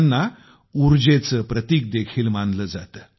त्यांना उर्जेचे प्रतीक देखील मानले जाते